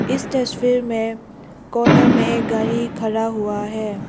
इस तस्वीर में कॉर्नर में एक गाड़ी खड़ा हुआ है।